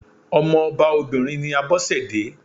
Ọmọ ọba obìnrin ni Abọ́sẹ̀dé.